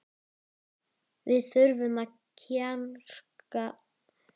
Við þurfum að kjarna okkur